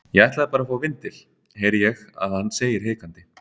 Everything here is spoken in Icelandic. Ég ætlaði bara að fá vindil, heyri ég að hann segir hikandi.